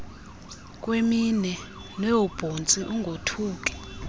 kweminwe noobhontsi ungothuki